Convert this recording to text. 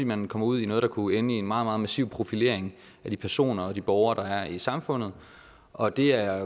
man kommer ud i noget der kunne ende i en meget meget massiv profilering af de personer og de borgere der er i samfundet og det er